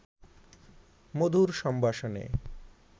মধুর সম্ভাষণে